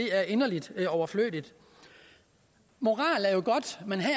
er inderlig overflødigt moral er jo godt men her